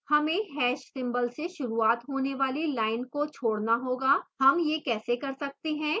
हमें hash ## symbol से शुरूआत होने वाली lines को छोड़ना होगा